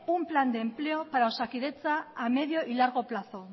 un plan de empleo para osakidetza a medio y largo plazo